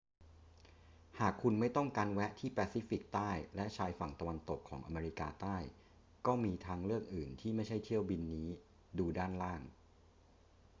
หากคุณไม่ต้องการแวะที่แปซิฟิกใต้และชายฝั่งตะวันตกของอเมริกาใต้ ก็มีทางเลือกอื่น ที่ไม่ใช่เที่ยวบินนี้ ดูด้านล่าง